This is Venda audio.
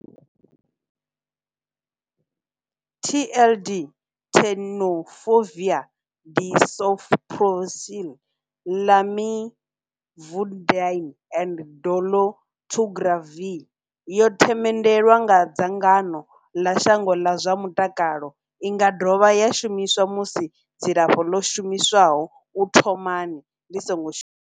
TLD, Tenofovir disoproxil, Lamivudine and dolutegravir, yo themendelwa nga dzangano ḽa shango ḽa zwa mutakalo. I nga dovha ya shumiswa musi dzilafho ḽo shumiswaho u thomani ḽi songo shuma.